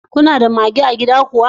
Kuna da mage a gida kuwa?